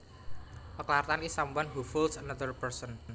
A charlatan is someone who fools another person